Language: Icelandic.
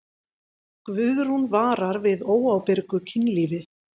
Guðrún vara við óábyrgu kynlífi.